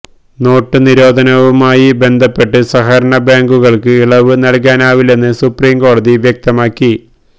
note നിരോധനവുമായി ബന്ധപ്പെട്ട് സഹകരണ ബാങ്കുകള്ക്ക് ഇളവ് നല്കാനാകില്ലെന്ന് സുപ്രീംകോടതി വ്യക്തമാക്കി